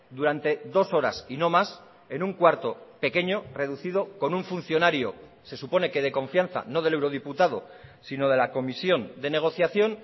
durante dos horas y no más en un cuarto pequeño reducido con un funcionario se supone que de confianza no del eurodiputado sino de la comisión de negociación